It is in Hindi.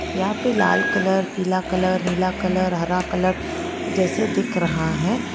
यहां पे लाल कलर पीला कलर नीला कलर हरा कलर जैसे दिख रहा है।